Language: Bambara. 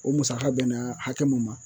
O musaka bɛnna hakɛ mun ma